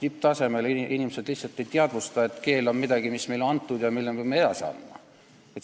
Tipptasemel inimesed lihtsalt ei teadvusta, et keel on midagi, mis on meile antud ja mille me peame edasi andma.